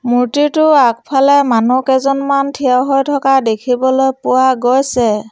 মূৰ্ত্তিটোৰ আগফালে মানুহ কেইজনমান থিয় হৈ থকা দেখিবলৈ পোৱা গৈছে।